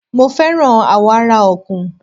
Mo fẹ́ràn àwọ̀ ara Ọ̀kùn